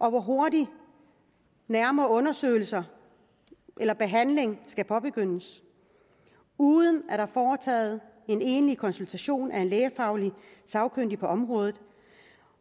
og hvor hurtigt nærmere undersøgelser eller behandling skal påbegyndes uden at der er foretaget en egentlig konsultation af en lægefaglig sagkyndig på området